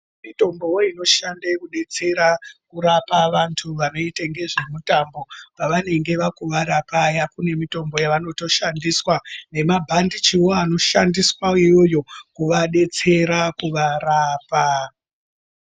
Mitombo inoshande kudetsere kurape vantu vanoite ngezvemutambo pavanenge vakuvara paya pane mitombo yavanotoshandisa nemabhandichiwo anoshandiwa iyoyo inodetsere kuvarapa.